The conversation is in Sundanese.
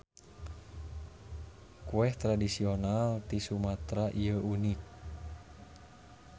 Kueh tradisional ti Sumatera ieu unik.